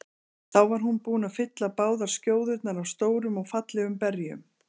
Þá var hún búin að fylla báðar skjóðurnar af stórum og fallegum berjum.